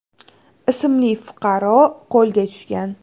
ismli fuqaro qo‘lga tushgan.